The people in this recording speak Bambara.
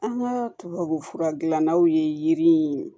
An ka tubabufura dilannaw ye yiri in